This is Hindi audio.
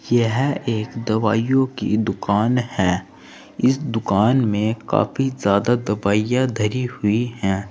यह एक दवाईयों की दुकान है इस दुकान में काफी ज्यादा दवाइयां धरी हुई है।